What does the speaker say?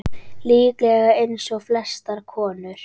Líklega eins og flestar konur.